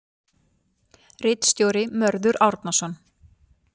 Ritstjóri Mörður Árnason.